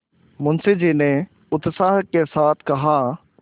मुंशी जी ने उत्साह के साथ कहा